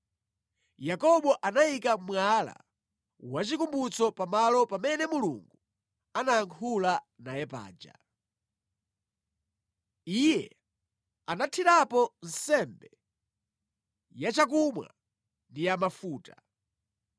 Yakobo anayika mwala wachikumbutso pa malo pamene Mulungu anayankhula naye paja. Iye anathirapo nsembe yachakumwa ndi yamafuta.